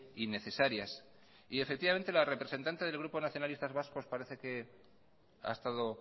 innecesarias y efectivamente la representante del grupo nacionalistas vasco parece que ha estado